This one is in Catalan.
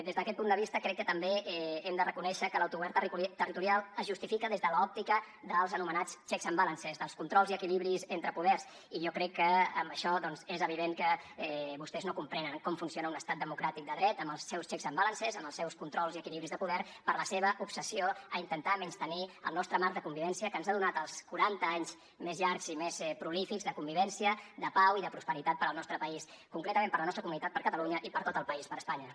des d’aquest punt de vista crec que també hem de reconèixer que l’autogovern territorial es justifica des de l’òptica dels anomenats checks and balances dels controls i equilibris entre poders i jo crec que amb això doncs és evident que vostès no comprenen com funciona un estat democràtic de dret amb els seus checks and balances amb els seus controls i equilibris de poder per la seva obsessió a intentar menystenir el nostre marc de convivència que ens ha donat els quaranta anys més llargs i més prolífics de convivència de pau i de prosperitat per al nostre país concretament per a la nostra comunitat per a catalunya i per a tot el país per a espanya